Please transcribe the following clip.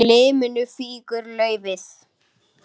Af liminu fýkur laufið.